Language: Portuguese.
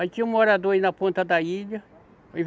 Aí tinha um morador aí na ponta da ilha.